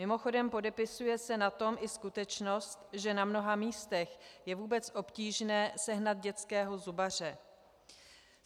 Mimochodem, podepisuje se na tom i skutečnost, že na mnoha místech je vůbec obtížné sehnat dětského zubaře.